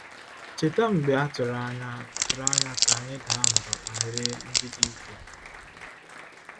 “Cheta mgbe a tụrụ anya tụrụ anya ka anyị daa mbà banyere ndị dike?”